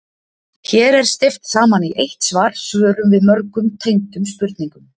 Hér er steypt saman í eitt svar svörum við mörgum tengdum spurningum.